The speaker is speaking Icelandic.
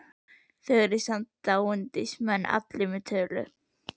Þá eru þið samt dándismenn allir með tölu!